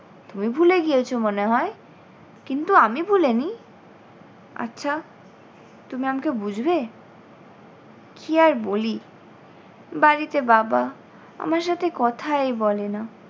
তুমি ভুলে গিয়েছো মনে হয় কিন্তু আমি ভুলিনি। আচ্ছা তুমি আমাকে বুঝবে? কী আর বলি বাড়িতে বাবা আমার সাথে কথাই বলে না।